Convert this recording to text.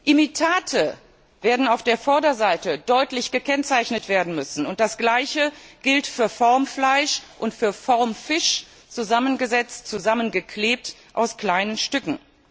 Imitate werden auf der Vorderseite deutlich gekennzeichnet werden müssen, und das Gleiche gilt für Formfleisch und für Formfisch, zusammengesetzt, zusammengeklebt aus kleinen Stücken.